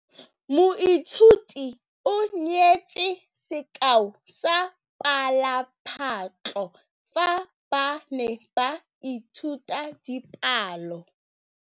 Moithuti o neetse sekaô sa palophatlo fa ba ne ba ithuta dipalo.